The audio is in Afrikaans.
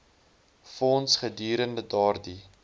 fonds gedurende daardie